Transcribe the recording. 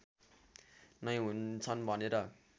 नै हुन्छन् भनेर